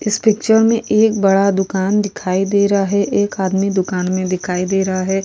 इस पिक्चर में एक बड़ा दुकान दिखाई दे रहा है एक आदमी दुकान में बिकाई दे रहा है --